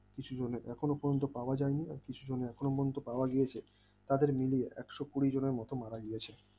কিছুজনের এখনো পর্যন্ত পাওয়া যায়নি কিছুজনের এখনো পর্যন্ত পাওয়া গেছে তাদের মিলিয়ে একশ কুড়ি জনের মতো মারা গিয়েছে